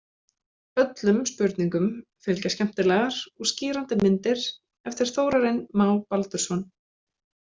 Öllum spurningum fylgja skemmtilegar og skýrandi myndir eftir Þórarinn Má Baldursson.